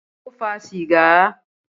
Ta ló fa sìgá?